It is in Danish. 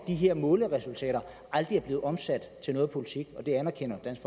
her måleresultater aldrig er blevet omsat til politik og det anerkender dansk